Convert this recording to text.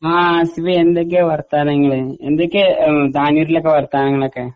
ആ ആസിഫേ എന്തൊക്കെയാ വർത്താനങ്ങള്? എന്തൊക്കെയാ ഉം താനൂരിലൊക്കെ വർത്താനങ്ങളൊക്കെ?